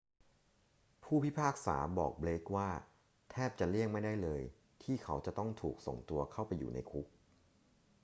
ผู้พิพากษาบอกเบลกว่า แทบจะเลี่ยงไม่ได้เลย ที่เขาจะต้องถูกส่งตัวเข้าไปอยู่ในคุก